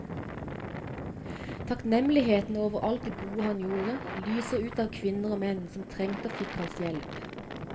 Takknemligheten over alt det gode han gjorde, lyser ut av kvinner og menn som trengte og fikk hans hjelp.